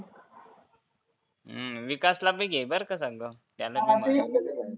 हम्म विकासला बी घे बरं संग त्याला